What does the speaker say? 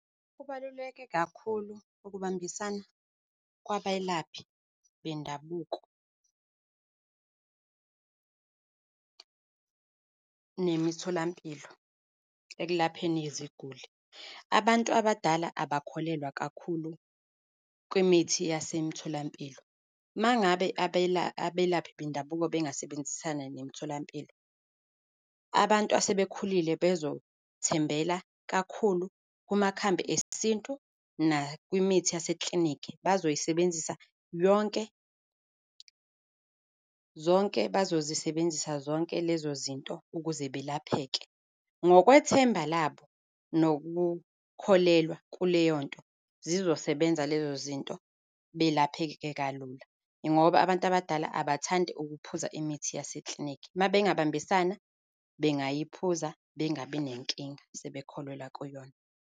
Kubaluleke kakhulu ukubambisana kwabelaphi bendabuko nemitholampilo ekulapheni iziguli. Abantu abadala abakholelwa kakhulu kwimithi yasemtholampilo. Uma ngabe abelaphi bendabuko bengasebenzisana nemitholampilo, abantu asebekhulile bezothembela kakhulu kumakhambi esintu nakwimithi yaseklinikhi, bazoyisebenzisa yonke, zonke, bazozisebenzisa zonke lezo zinto ukuze balapheke. Ngokwethemba labo nokukholelwa kuleyo nto, zizosebenza lezo zinto, belapheke kalula, ngoba abantu abadala abathandi ukuphuza imithi yaseklinikhi. Uma bengabambisana, bengayiphuza, bengabi nenkinga, sebekholelwa kuyona.